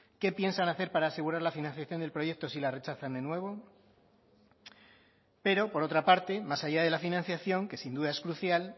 qué piensan hacer para asegurar la financiación del proyecto si la rechazan de nuevo pero por otra parte más allá de la financiación que sin duda es crucial